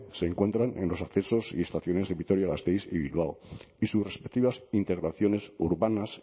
se encuentran en los accesos y estaciones de vitoria gasteiz y bilbao y sus respectivas integraciones urbanas